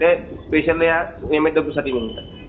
त्या स्पेशली या एमएसडब्ल्यूसाठी निघतात.